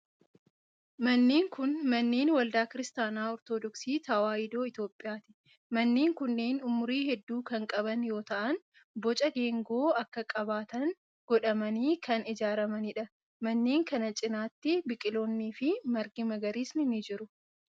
Manneen kun, manneen waldaa Kiristaana Ortodooksii Tawaahidoo Itoophiyaati. Manneen kunneen umurii hedduu kan qaban yoo ta'an, boca geengoo akka qabaatan godhamanii kan ijaaramanii dha. Manneen kana cinaatti biqiloonni fi margi magariisni ni jiru.